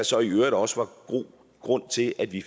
så i øvrigt også var god grund til at vi